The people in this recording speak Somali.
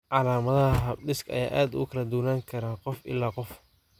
Calaamadaha habdhiska ayaa aad ugu kala duwanaan kara qof ilaa qof.